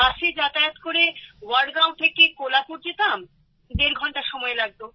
বাসে যাতায়াত করে ওয়াডগাঁও থেকে কোলাপুর যেতাম দেড় ঘণ্টা সময় লাগতো